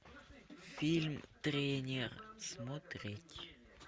фильм тренер смотреть